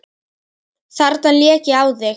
Þarna lék ég á þig!